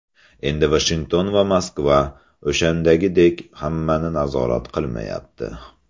Endi Vashington va Moskva o‘shandagidek hammani nazorat qilmayapti.